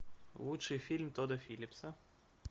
лучший фильм тодда филлипса